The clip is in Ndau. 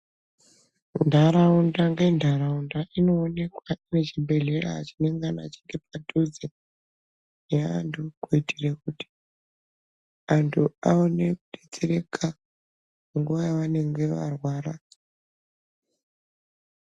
Ntaraunda ngentaraunda inoonekwa ngechibhedhlera chinengana chiri padhuze neantu kuitira kuti antu aone kudetsereka nguva yavanenge varwara.